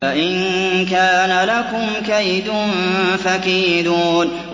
فَإِن كَانَ لَكُمْ كَيْدٌ فَكِيدُونِ